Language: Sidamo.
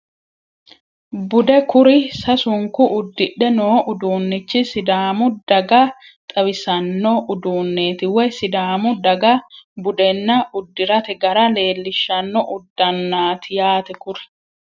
Bude kuri sasunku uddidhe noo uduunnichi sidaamu daga xawisanno uduunneeti woyi sidaamu daga budenna uddirate gara leellishshanno uddannaati yaate kuri